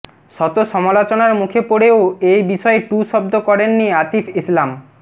শত সমালোচনার মুখে পড়েও এ বিষয়ে টু শব্দ করেননি আতিফ ইসলাম